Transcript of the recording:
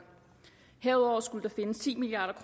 herudover skulle der findes ti milliard